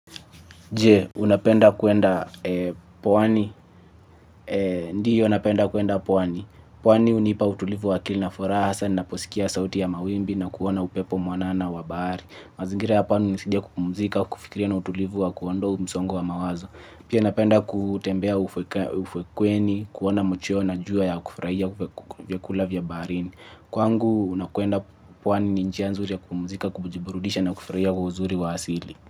Je, unapenda kuenda pwani? Ndiyo napenda kuenda pwani. Pwani hunipa utulivu wa akili na furaha, hasa ninaposikia sauti ya mawimbi na kuona upepo mwanana wa bahari. Mazingira ya pwani hunisaidia kupumzika, kufikiria kwa utulivu na kuondoa msongo wa mawazo. Pia napenda kutembea ufukweni, kuona machweo na jua, na kufurahia kula vyakula vya baharini. Kwangu napoenda pwani, ni njia nzuri ya kupumzika, kujiburudisha na kufurahia uzuri wa asili.